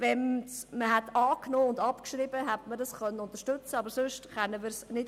Würde die Motion angenommen und gleichzeitig abgeschrieben, könnte man sie unterstützen, andernfalls nicht.